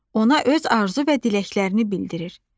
Ona öz arzu və diləklərini bildirir.